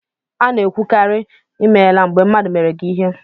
A na-ekwukarị ""I meela" mgbe mmadụ meere gị ihe